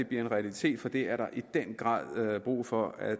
bliver en realitet for det er der i den grad brug for at